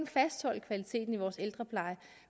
fastholde kvaliteten i vores ældrepleje